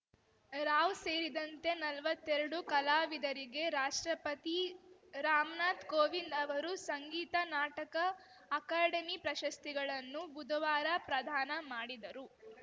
ರಾವ್‌ ಸೇರಿದಂತೆ ನಲ್ವತ್ತೆರಡು ಕಲಾವಿದರಿಗೆ ರಾಷ್ಟ್ರಪತಿ ರಾಮ್ ನಾಥ್‌ ಕೋವಿಂದ್‌ ಅವರು ಸಂಗೀತ ನಾಟಕ ಅಕಾಡೆಮಿ ಪ್ರಶಸ್ತಿಗಳನ್ನು ಬುಧವಾರ ಪ್ರದಾನ ಮಾಡಿದರು